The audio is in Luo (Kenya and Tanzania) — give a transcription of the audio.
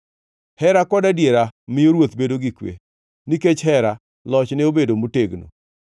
Hera kod adiera miyo ruoth bedo gi kwe, nikech hera, lochne bedo motegno.